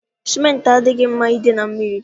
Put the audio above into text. Sementị adịghị mma ịdị na mmiri